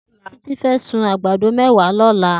Titi fè sún ágbàdó mèwá lòlá